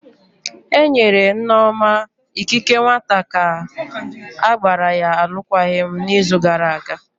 Enyere Nneoma ikike nwata ka gbara ya alụkwaghịm n'izu gara aga.